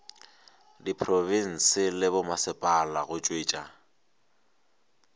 diprofense le bommasepala go tšwetša